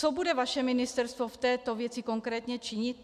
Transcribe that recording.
Co bude vaše ministerstvo v této věci konkrétně činit?